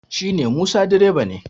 shi ne musa direba ne